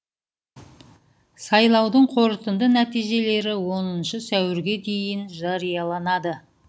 сайлаудың қорытынды нәтижелері оныншы сәуірге дейін жарияланады